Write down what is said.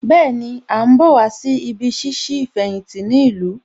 Bẹ́ẹ̀ni, À ń bọ̀ wá sí ibí ṣíṣí ìfẹ̀yìntì ní ìlú